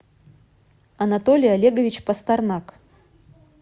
анатолий олегович пастернак